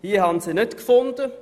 Ich habe diese nicht gefunden.